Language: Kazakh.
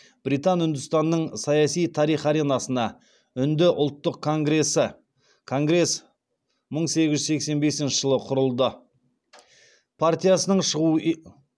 британ үндістанының саяси тарих аренасына үнді ұлттық конгресі конгресс мың сегіз жүз сексен бесінші жылы құрылды